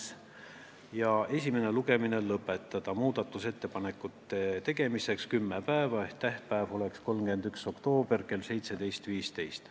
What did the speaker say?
Tehti ka ettepanek esimene lugemine lõpetada ja määrata muudatusettepanekute tegemiseks kümme tööpäeva, st tähtpäev oleks 31. oktoober kell 17.15.